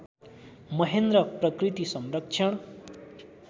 महेन्द्र प्रकृति संरक्षण